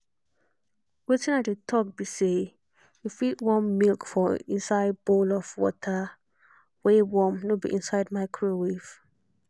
wetin i dey talk be say you fit warm milk for inside bowl of water wey warm nor be inside micowave.